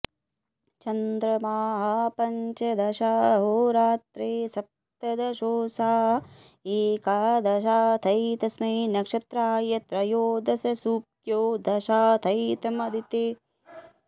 च॒न्द्रमाः॒ पञ्च॑दशाहोरा॒त्रे स॒प्तद॑शो॒षा एका॑द॒शाथै॒तस्मै॒ नक्ष॑त्त्राय॒ त्रयो॑दश॒ सूऱ्यो॒ दशाथै॒तमदि॑त्यै॒ पञ्चाथै॒तं विष्ण॑वे॒ षट्थ्स॒प्त